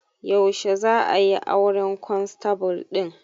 Yaushe za'a yi auren kwanstable ɗin